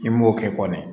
I m'o kɛ kɔni